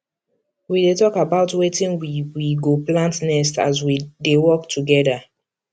we dey talk about wetin we we go plant next as we dey work together